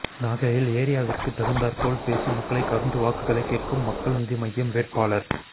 நாகையில் ஏரியாவிற்கு தகுந்தாற்போல் பேசி மக்களை கவர்ந்து வாக்குகளை கேட்கும் மக்கள் நீதி மய்யம் வேட்பாளர்